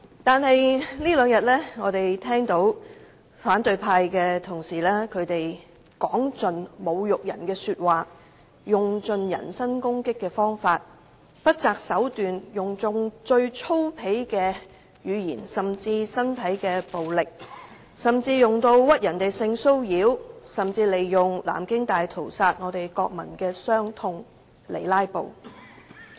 可是，我們在這兩天聽到反對派同事說盡侮辱人的話，用盡人身攻擊的方法，不擇手段地為"拉布"而不惜用最粗鄙的語言和身體暴力，甚至污衊別人性騷擾和利用南京大屠殺的國民傷痛。